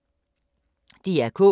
DR K